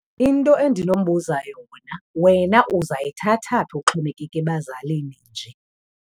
Into endinombuza yona, wena uzayithatha phi uxhomekeke ebazalini nje?